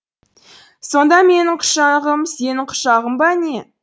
сонда менің құшағым сенің құшағың ба не